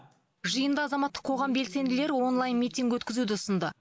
жиында азаматтық қоғам белсенділері онлайн митинг өткізуді ұсынды